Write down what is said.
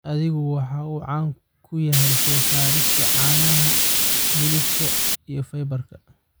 Adhigu waxa uu caan ku yahay soo saarista caanaha, hilibka, iyo fiberka.